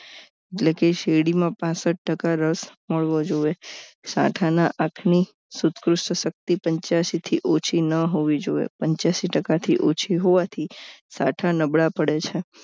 એટલે કે શેરડી માં પાનસઠ ટકા રસ મળવો જોઈએ સાંઠા ના આપની સુધક શક્તિ પંચ્યાશી થી ઓછી ન હોવી જોઈએ પંચ્યાશી ટકા થી ઓછી હોવાથી સાંઠા નબળા પડે છે